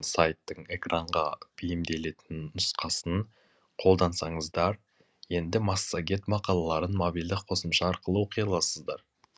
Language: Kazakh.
сайттың экранға бейімделетін нұсқасын қолдансаңыздар енді массагет мақалаларын мобильді қосымша арқылы оқи аласыздар